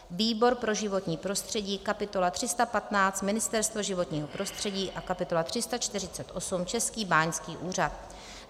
výbor pro životní prostředí kapitola 315 - Ministerstvo životního prostředí a kapitola 348 - Český báňský úřad;